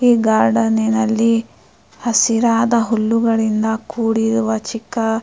ಈ ಗರ್ಡಾನಿನಲ್ಲಿ ಹಸಿರಾದ ಹುಲ್ಲುಗಳಿನಿಂದ ಕೂಡಿರಿವ ಚಿಕ್ಕ--